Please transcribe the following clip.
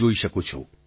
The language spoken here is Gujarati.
જોઈ શકું છું